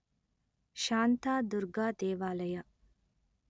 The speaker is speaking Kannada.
ಶಾಂತಾದುರ್ಗಾ ದೇವಾಲಯ